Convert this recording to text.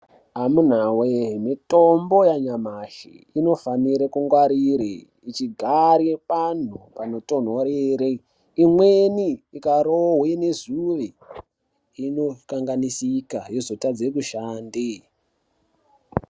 Amunawe mitombo yanyamashi inofanire kungwarire ichigare pantu panotonhorere imweni ikarohwe nezuve inokanganisika yozotadze kushande.